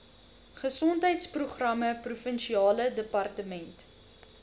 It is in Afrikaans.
gesondheidsprogramme provinsiale departement